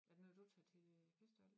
Er det noget du tager til øh festival?